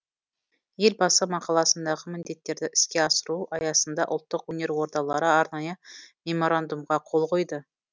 елбасы мақаласындағы міндеттерді іске асыру аясында ұлттық өнер ордалары арнайы меморандумға қол қойды